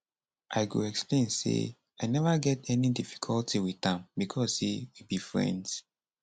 i go explain say i neva get any difficulty wit am becos say we be friends